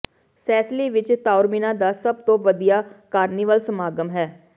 Sicily ਵਿੱਚ Taormina ਦਾ ਸਭ ਤੋਂ ਵਧੀਆ ਕਾਰਨੀਵਾਲ ਸਮਾਗਮ ਹੈ